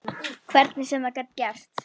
Hvernig sem það gat gerst.